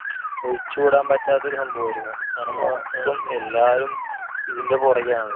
ഒഴിച്ചുകൂടാൻ പറ്റാത്ത ഒരു സംഭവമായിരിക്കുകയാണ്. ഇപ്പം എല്ലവരും ഇതിന്റെ പുറകെ ആണ്.